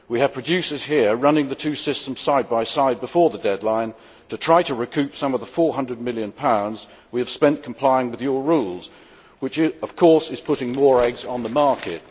We have producers in this area running the two systems side by side before the deadline to try to recoup some of the GBP 400 million pounds we have spent complying with your rules which, of course, is putting more eggs on the market.